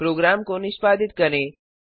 programme को निष्पादित करें